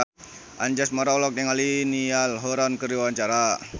Anjasmara olohok ningali Niall Horran keur diwawancara